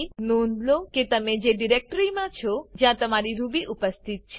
નોંધ લો કે તમે તેજ ડિરેક્ટરી મા છો જ્યાં તમારી રૂબી ઉપસ્થિત છે